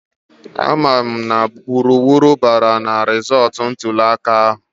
A ma mụ na wuruwuru bara rizọọtụ ntụliaka ahụ